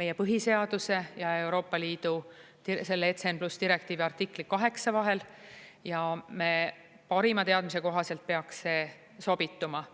meie põhiseaduse ja Euroopa Liidu selle ECN+ direktiivi artikli VIII vahel, ja meie parima teadmise kohaselt peaks see sobituma.